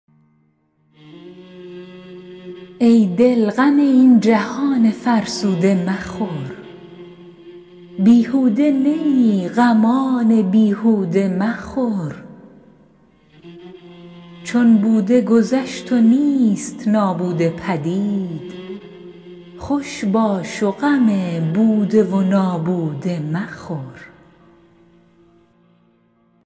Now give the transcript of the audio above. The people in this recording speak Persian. ای دل غم این جهان فرسوده مخور بیهوده نه ای غمان بیهوده مخور چون بوده گذشت و نیست نابوده پدید خوش باش غم بوده و نابوده مخور